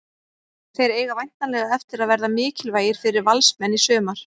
Þeir eiga væntanlega eftir að verða mikilvægir fyrir Valsmenn í sumar.